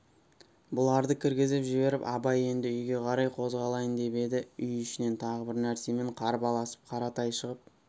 бұларды кіргізіп жіберіп абай енді үйге қарай қозғалайын деп еді үй ішінен тағы бір нәрсемен қарбаласып қаратай шығып